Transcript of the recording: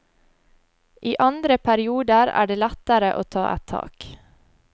I andre perioder er det lettere å ta et tak.